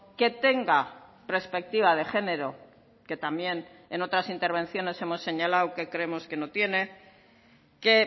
que tenga perspectiva de género que también en otras intervenciones hemos señalado que creemos que no tiene que